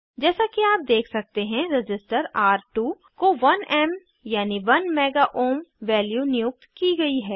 जैसे कि आप देख सकते हैं रज़िस्टर र2 को 1एम यानी 1 मेगा ओहम वैल्यू नियुक्त की गयी है